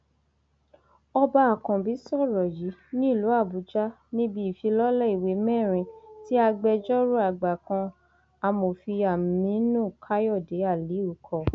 ọba àkànbí sọrọ yìí nílùú àbújá níbi ìfilọlẹ ìwé mẹrin tí agbẹjọrò àgbà kan amòfin aminu káyọdé aliu kọ